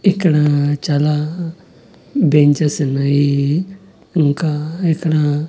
ఇక్కడా చాలా బెంచెస్ ఉన్నాయి ఇంకా ఇక్కడ--